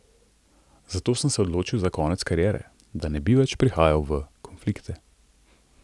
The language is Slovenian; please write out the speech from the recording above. Zato sem se odločil za konec kariere, da ne bi več prihajal v konflikte.